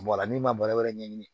Bɔrɛ n'i ma bana wɛrɛ ɲɛɲini